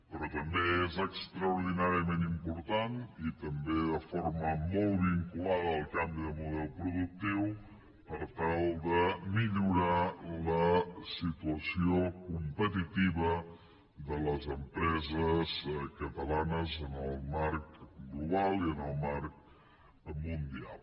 però també és extraordinàriament important i també de forma molt vinculada al canvi de model productiu per tal de millorar la situació competitiva de les empreses catalanes en el marc global i en el marc mundial